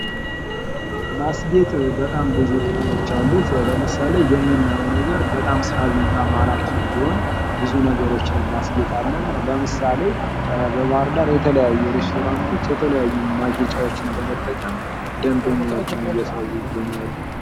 ማስጌጥ በጣም ብዙ ጥቅሞች አሉት። ለምሳሌ የምናየዉ ነገር በጣም ሳቢና ማራኪ እንዲሆን ብዙ ነገሮችን እናስጌጣለን። ለምሳሌ:- በባህርዳር የተለያዩ ሬስቶራቶች የተለያዩ ማጌጫዎችን በመጠቀም ደንበኛዎችን እየሳቡ ይገኛሉ።